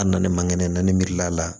A nalen man kɛnɛ na ni mirila la